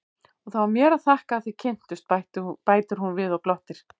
Og það var mér að þakka að þið kynntust, bætir hún við og glottir.